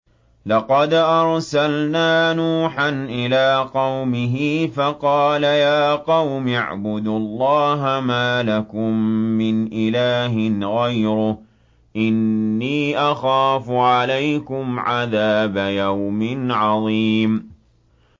لَقَدْ أَرْسَلْنَا نُوحًا إِلَىٰ قَوْمِهِ فَقَالَ يَا قَوْمِ اعْبُدُوا اللَّهَ مَا لَكُم مِّنْ إِلَٰهٍ غَيْرُهُ إِنِّي أَخَافُ عَلَيْكُمْ عَذَابَ يَوْمٍ عَظِيمٍ